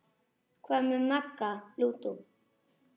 Hvað með Magga lúdó?